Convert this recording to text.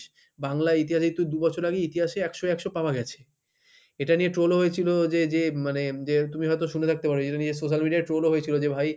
বাংলার ইতিহাসে দু'বছর আগে ইতিহাসে একশোয় একশো পাওয়া গেছে এটা নিয়ে troll ও হয়েছিল যে যে মানে যে তুমি হয়তো শুনে থাকতে পারো যেটা নিয়ে social media troll ও হয়েছিল যে ভাই;